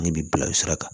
Ne bi bila o sira kan